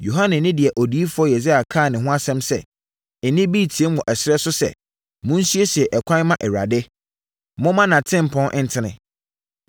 Yohane ne deɛ odiyifoɔ Yesaia kaa ne ho asɛm sɛ, “Nne bi reteam wɔ ɛserɛ so sɛ, ‘Monsiesie ɛkwan mma Awurade; momma nʼatempɔn ntene!’ ”